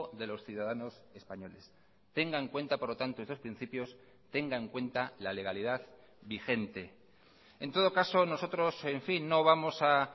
de los ciudadanos españoles tenga en cuenta por lo tanto estos principios tenga en cuenta la legalidad vigente en todo caso nosotros en fin no vamos a